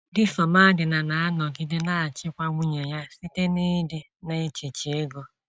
Di Somadina na - anọgide na - achịkwa nwunye ya site n’ịdị na - ejichi ego.